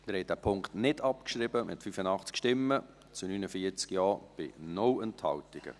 Sie haben diesen Punkt nicht abgeschrieben, mit 85 Nein- zu 49 Ja-Stimmen bei 0 Enthaltungen.